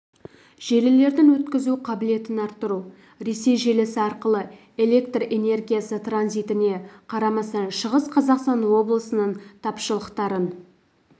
желілердің өткізу қабілетін арттыру ресей желісі арқылы электр энергиясы транзитіне қарамастан шығыс қазақстан облысының тапшылықтарын